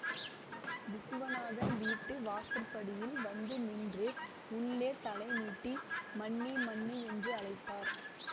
விசுவநாதன் வீட்டு வாசற்படியில் வந்து நின்று உள்ளே தலை நீட்டி மன்னி மன்னி என்று அழைத்தார்